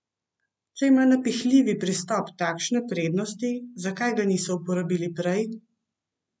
Če ima napihljivi pristop takšne prednosti, zakaj ga niso uporabili prej?